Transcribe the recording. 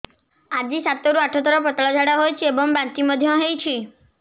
ଆଜି ସାତରୁ ଆଠ ଥର ପତଳା ଝାଡ଼ା ହୋଇଛି ଏବଂ ବାନ୍ତି ମଧ୍ୟ ହେଇଛି